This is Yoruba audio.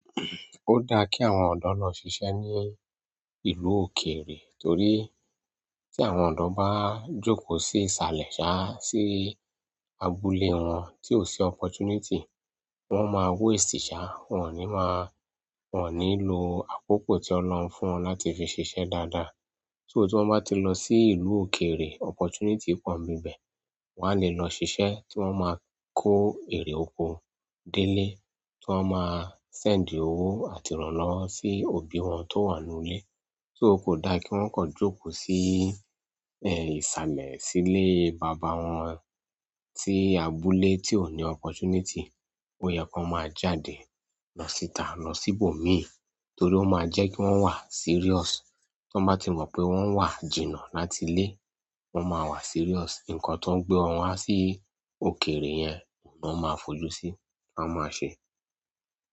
O da ki àwọn odo lo sise ni ìlú òkèèrè, torí, ti àwọn odo ba joko si isale saa, si abúlé won, ti o si oppportunity, won maa waste saa, won ni maa, won ni lo akoko ti Olorun fún won láti fi sise dáadáa. So tí wọ́n bá ti lọ sí ìlú òkèèrè, opportunity pọ̀ n bi bẹ̀, wọ́n á lè lọ ṣiṣẹ́ tí wọ́n máa kó èrè oko délé, tí wọ́n máa send owó àti ìrànlọ́wọ́ sí òbí wọn tó wà nú ilé. So ko dá kí wọ́n kọ́ jókòó sí ẹ, ìsàlẹ̀ sílé bàbá wọn tí abúlé tí ò ní opportunity. Ó yẹ kó máa jáde, lọ síta lọ sí ibòmí torí ó máa jẹ́ kí wọ́n wà serious. Tan bá ti mọ̀ pé wọ́n wà jìnnà láti ilé, wọ́n máa wà serious. Ǹǹkan tó ń gbé wọn wá sí òkèèrè yẹn ni wọ́n máa fojú sí, wọ́n máa ṣe.